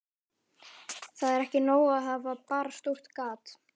Það er ekki nóg að hafa bara stórt gat